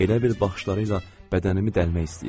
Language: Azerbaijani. Elə bil baxışlarıyla bədənimi dəlmək istəyirdi.